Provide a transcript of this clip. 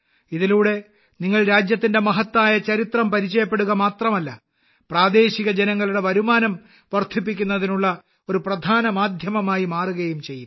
ഇതിലൂടെ നിങ്ങൾ രാജ്യത്തിന്റെ മഹത്തായ ചരിത്രം പരിചയപ്പെടുക മാത്രമല്ല പ്രാദേശിക ജനങ്ങളുടെ വരുമാനം വർദ്ധിപ്പിക്കുന്നതിനുള്ള ഒരു പ്രധാന മാധ്യമമായി മാറുകയും ചെയ്യും